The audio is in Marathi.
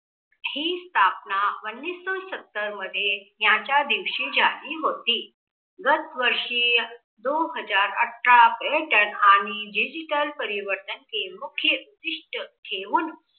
ही स्थापना उन्निसो सत्तर मध्ये याच्या दिवशी जाहीर होतीय. दास वर्षीय दोन हजार अठरा आणि digital परिवर्तन के मुख्य उद्दिष्ट ठेवून